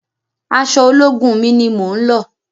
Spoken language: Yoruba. Aṣọ ológun mi ni mo ń lọ̀.